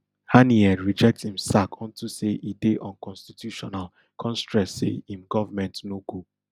haniyeh reject im sack onto say e dey unconstitutional kon stress say im goverment no go